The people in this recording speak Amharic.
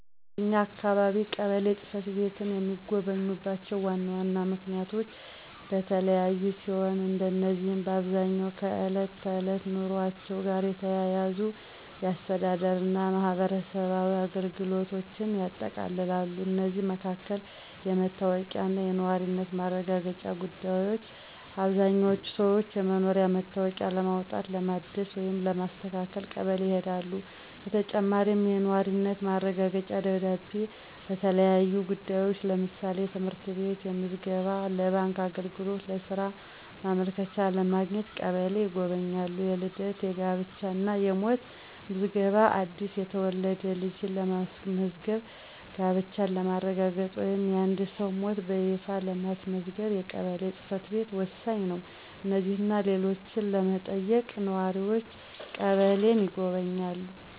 በኛ አካባቢ ቀበሌ ጽ/ቤትን የሚጎበኙባቸው ዋና ዋና ምክንያቶች የተለያዩ ሲሆኑ፣ እነዚህም በአብዛኛው ከዕለት ተዕለት ኑሯቸው ጋር የተያያዙ የአስተዳደር እና የማህበራዊ አገልግሎቶችን ያጠቃልላሉ። ከእነዚህም መካከል: * የመታወቂያ እና የነዋሪነት ማረጋገጫ ጉዳዮች: አብዛኛዎቹ ሰዎች የመኖሪያ መታወቂያ ለማውጣት፣ ለማደስ ወይም ለማስተካከል ቀበሌ ይሄዳሉ። በተጨማሪም፣ የነዋሪነት ማረጋገጫ ደብዳቤ ለተለያዩ ጉዳዮች (ለምሳሌ: ለትምህርት ቤት ምዝገባ፣ ለባንክ አገልግሎት፣ ለሥራ ማመልከቻ) ለማግኘት ቀበሌን ይጎበኛሉ። * የልደት፣ የጋብቻ እና የሞት ምዝገባ: አዲስ የተወለደ ልጅን ለማስመዝገብ፣ ጋብቻን ለማረጋገጥ ወይም የአንድን ሰው ሞት በይፋ ለማስመዝገብ የቀበሌ ጽ/ቤት ወሳኝ ነው። እነዚህንና ሌሎችን ለመጠየቅ ነዋሪዎች ቀበሌን ይጎበኛሉ።